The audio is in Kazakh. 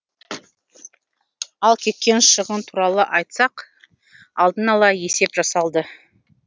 ал кеткен шығын туралы айтсақ алдын ала есеп жасалды